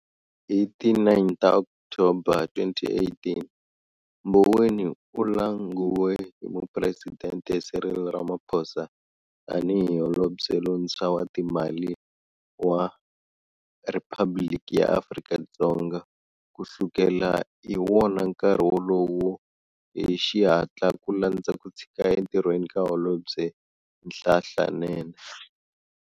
Hi ti 9 ta Okthoba 2018, Mboweni u languwe hi Mupresidente Cyril Ramaphosa tani hi Holobye lontshwa wa ta timali wa Riphabliki ya Afrika-Dzonga, ku sukela hi wona nkarhi wolowo hi xihatla ku landza ku tshika entirhweni ka holobye Nhlanhla Nene.